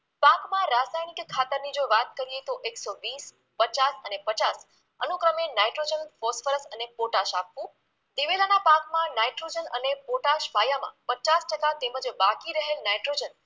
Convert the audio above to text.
કે ખાતરની જો વાત કરીએ તો એકસો વીસ, પચાસ અને પચાસ અનુક્રમે નાઈટ્રોજન, ફોસ્ફરસ અને પોટાશ આખુ, દિવેલાના પાકમાં નાઈટ્રોજન અને પોટાશ પાયામાં પચાસ ટકા તેમજ બાકી રહેલ નાઈટ્રોજન